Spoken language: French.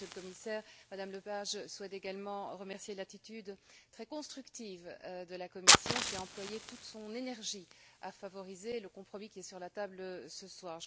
Monsieur le Commissaire, Mme Lepage souhaite également saluer l'attitude très constructive de la Commission qui a employé toute son énergie à favoriser le compromis qui est sur la table ce soir.